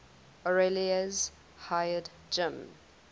orioles hired jim